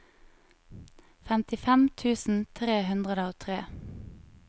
femtifem tusen tre hundre og tre